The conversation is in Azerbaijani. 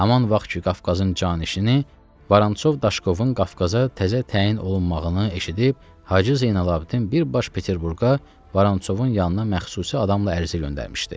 Haman var ki, Qafqazın canişini Varançov Daşkovun Qafqaza təzə təyin olunmağını eşidib Hacı Zeynalabdin bir baş Peterburqa Varançovun yanına məxsusi adamla ərizə göndərmişdi.